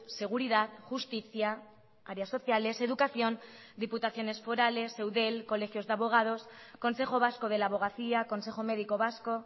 seguridad justicia áreas sociales educación diputaciones forales eudel colegios de abogados consejo vasco de la abogacía consejo médico vasco